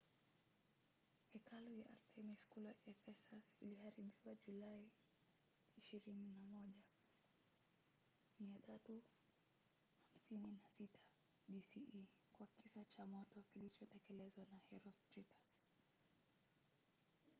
hekalu ya artemis kule ephesus iliharibiwa julai 21 356 bce kwa kisa cha moto kilichotekelezwa na herostratus